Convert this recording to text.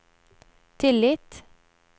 tillit